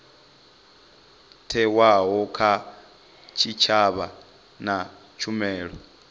thewaho kha tshitshavha na tshumelo